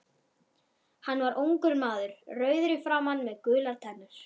Hann var ungur maður, rauður í framan með gular tennur.